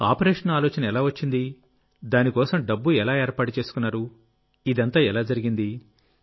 operation ఆలోచన ఎలా వచ్చింది దానికోసం డబ్బుఎలా ఏర్పాటు చేసుకున్నారు ఇదంతా ఎలా జరిగింది